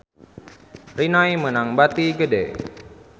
Rinnai meunang bati gede